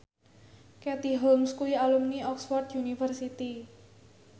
Katie Holmes kuwi alumni Oxford university